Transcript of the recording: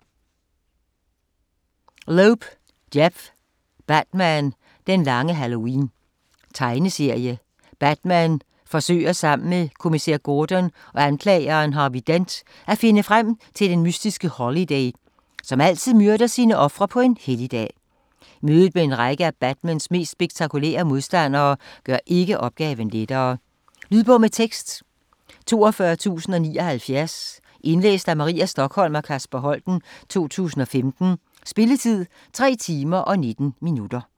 Loeb, Jeph: Batman - den lange halloween Tegneserie. Batman forsøger sammen med kommissær Gordon og anklageren Harvey Dent at finde frem til den mystiske Holiday, som altid myrder sine ofre på en helligdag. Mødet med en række af Batmans mest spektakulære modstandere gør ikke opgaven lettere. Lydbog med tekst 42079 Indlæst af Maria Stokholm og Kasper Holten, 2015. Spilletid: 3 timer, 19 minutter.